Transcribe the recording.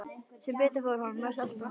Sem betur fer fór mest allt fram hjá.